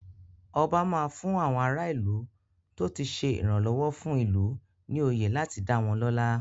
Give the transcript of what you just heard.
Ọba máa fún àwọn ara ìlú tó ti ṣe ìrànlọ́wọ́ fún ìlú ní oyè láti dá wọ́n lọ́lá.